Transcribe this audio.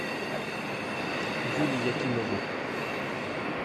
юре якимову